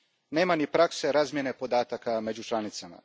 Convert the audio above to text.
Nema ni prakse razmjene podataka među članicama.